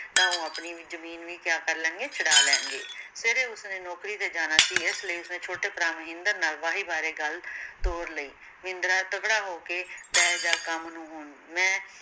ਤਾਂ ਉਹ ਆਪਣੀ ਵੀ ਜਮੀਨ ਵੀ ਕਿਆ ਕਰ ਲੈਣਗੇ ਛੁੜਾ ਲੈਣਗੇ ਸਵੇਰੇ ਉਸਨੇ ਨੌਕਰੀ ਤੇ ਜਾਣਾ ਸੀ ਇਸ ਲਈ ਉਸਨੇ ਛੋਟੇ ਭਰਾ ਮਹਿੰਦਰ ਨਾਲ ਵਾਹੀ ਬਾਰੇ ਗੱਲ ਤੋਰ ਲਈ ਮਹਿੰਦਰਾ ਤਗੜਾ ਹੋ ਕੇ ਪੈ ਜਾ ਕੰਮ ਨੂੰ ਹੁਣ ਮੈ